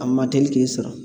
A ma teli k'i sɔrɔ